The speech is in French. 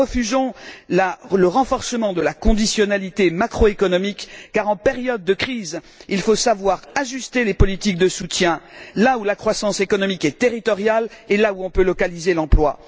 Nous refusons le renforcement de la conditionnalité macroéconomique car, en période de crise, il faut savoir ajuster les politiques de soutien là où la croissance économique est territoriale, et là où on peut localiser l'emploi.